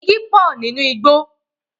Igi pọ̀ nínú igbó.